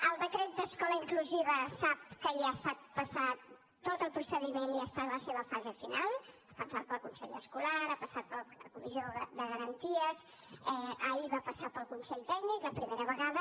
el decret d’escola inclusiva sap que ja ha estat passat tot el procediment i està en la seva fase final ha passat pel consell escolar ha passat per la comissió de garanties ahir va passar pel consell tècnic la primera vegada